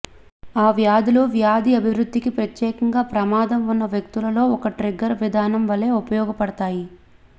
ఈ వ్యాధులు వ్యాధి అభివృద్ధికి ప్రత్యేకంగా ప్రమాదం ఉన్న వ్యక్తులలో ఒక ట్రిగ్గర్ విధానం వలె ఉపయోగపడతాయి